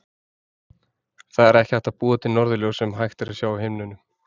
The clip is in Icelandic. Það er ekki hægt að búa til norðurljós sem hægt er að sjá á himninum.